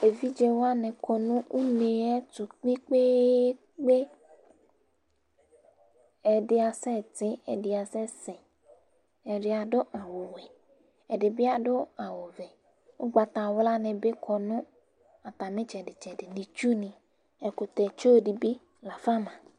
Evidze wanɩ kɔ nʋ une yɛ tʋ kpekpee! Ɛdɩ asɛ tɩ,ɛdɩ asɛ, sɛ; ɛdɩ adʋ awʋ wɛ, ɛdɩ bɩ adʋ awʋ vɛƱgbatawla nɩ bɩ kɔ nʋ atamɩ ɩtsɛdɩtsɛdɩ, nɩ, ɛkʋtɛtsu nɩ bɩ lafa ma